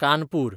Kanpur